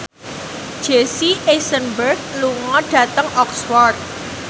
Jesse Eisenberg lunga dhateng Oxford